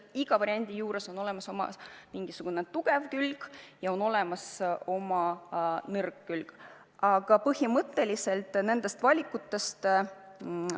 Igal variandil on mingisugune tugev külg ja mingisugune nõrk külg.